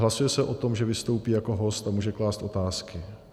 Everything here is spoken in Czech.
Hlasuje se o tom, že vystoupí jako host a může klást otázky.